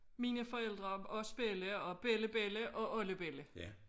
Mine forældre og os bella og bellabella og oldebella